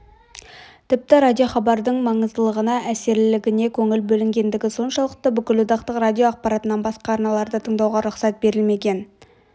тіпті радиохабардың маңыздылығына әсерлілігіне көңіл бөлінгендігі соншалықты бүкілодақтық радио ақпараттарынан басқа арналарды тыңдауға рұқсат берілмеген